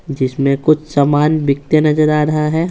जिसमें कुछ सामान बिकते नजर आ रहा है।